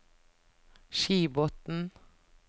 Skibotn